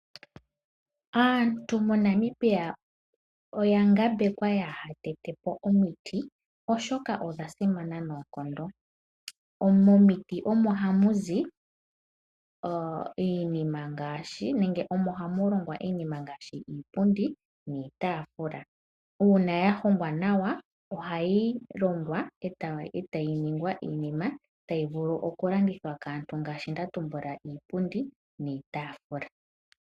Aantu moNamibia oya ngambekwa kaaya tete po omiti oshoka odha simana noonkondo. Momiti omo hamu zi iinima ngaashi iipundi niitaafula, uuna ya hongwa nawa ohayi vulu okulandithwa kaantu.